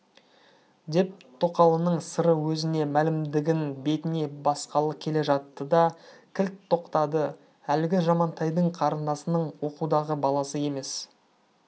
деп тоқалының сыры өзіне мәлімдігін бетіне басқалы келе жатты да кілт тоқтады әлгі жамантайдың қарындасының оқудағы баласы емес